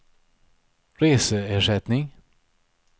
reseersättning